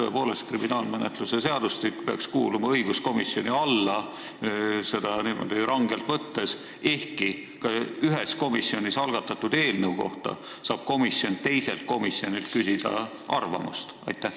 Tõepoolest, kriminaalmenetluse seadustik peaks rangelt võttes kuuluma õiguskomisjoni valdkonda, ehkki ühes komisjonis algatatud eelnõu kohta saab komisjon teiselt komisjonilt arvamust küsida.